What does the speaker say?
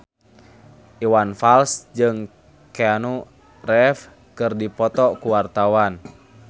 Iwan Fals jeung Keanu Reeves keur dipoto ku wartawan